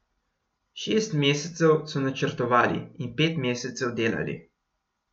Šest mesecev so načrtovali in pet mesecev delali.